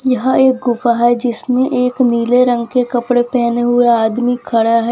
यहां एक गुफा है जिसमें एक नीले रंग के कपड़े पहने हुए आदमी खड़ा है।